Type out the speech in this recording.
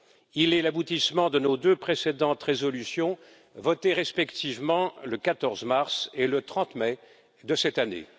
Il est l'aboutissement de nos deux précédentes résolutions votées respectivement le 14 mars et le 30 mai de cette année.